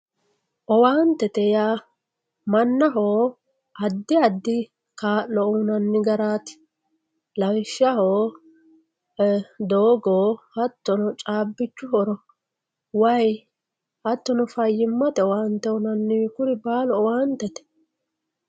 owaantete yaa mannaho addi addi kaa'lo uyiinanni garaati lawishshaho doogo hattono caabbichu horo wayii hattono fayyimmate owaante kuni baalu owaantete